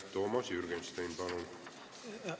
Toomas Jürgenstein, palun!